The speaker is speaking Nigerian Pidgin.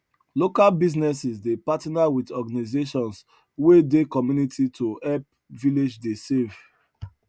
local businesses dey partner wit organizations wey dey community to help village dey save